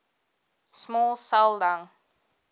small cell lung